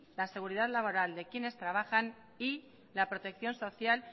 la seguridad laboral de quienes trabajan y la protección social